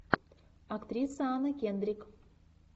актриса анна кендрик